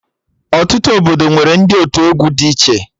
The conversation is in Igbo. Ọtụtụ obodo nwere ndị otu egwu dị iche